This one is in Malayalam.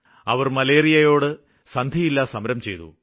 അവര് മലേറിയയോട് സന്ധിയില്ലാ സമരം ചെയ്തു